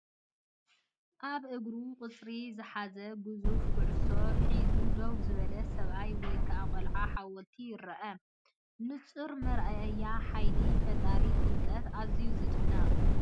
ኣብ እግሩ ቁጽሪ ዝሓዘት ግዙፍ ኩዕሶ ሒዙ ደው ዝበለ ሰብኣይ ወይ ከዓ ቆልዓ ሓወልቲ ይርአ። ንጹር መርኣያ ሓይሊ ፈጠራን ፍልጠትን-ኣዝዩ ዝድነቕ!